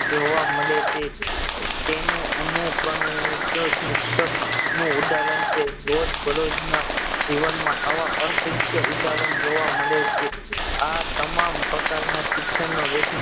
જોવા મળે છે તેનું અનુકરન શિક્ષક નું ઉદાહરણ છે રોજ બરોજ ના જીવન માં આવા અસંખ્ય ઉદાહરણ જોવા મળે છે આ તમામ પ્રકાર ના શિક્ષન નો